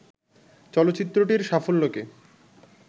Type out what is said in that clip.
চলচ্চিত্রটির সাফল্যকে